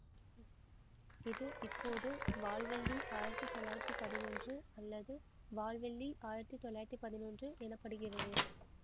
இது இப்போது வால்வெள்ளி ஆயிரத்தி தொள்ளாயிரத்தி பதினொன்று அல்லது வால்வெள்ளி ஆயிரத்தி தொள்ளாயிரத்தி பதினொன்று எனப்படுகிறது